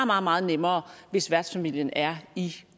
meget meget nemmere hvis værtsfamilien er i